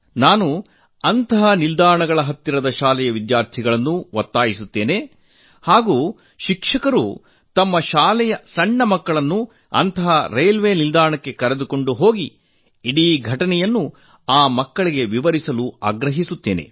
ನಾನು ಅಂತಹ ನಿಲ್ದಾಣಗಳ ಹತ್ತಿರದ ಶಾಲೆಯ ವಿದ್ಯಾರ್ಥಿಗಳನ್ನು ಶಿಕ್ಷಕರು ತಮ್ಮ ಶಾಲೆಯ ಸಣ್ಣ ಮಕ್ಕಳನ್ನು ಅಂತಹ ರೇಲ್ವೆ ನಿಲ್ದಾಣಕ್ಕೆ ಕರೆದುಕೊಂಡು ಹೋಗಿ ಇಡೀ ಘಟನೆಯನ್ನು ಆ ಮಕ್ಕಳಿಗೆ ವಿವರಿಸಬೇಕು ಎಂದು ಒತ್ತಾಯಿಸುತ್ತೇನೆ